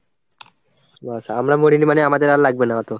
ব্যাস, আমরা মরিনি মানে আমাদের আর লাগবে না অতো?